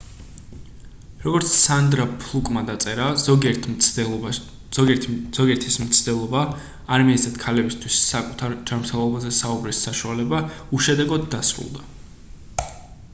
როგორც სანდრა ფლუკმა დაწერა ზოგიერთის მცდელობა არ მიეცათ ქალებითვის საკუთარ ჯანმრთელობაზე საუბრის საშუალება უშედეგოდ დასრლდა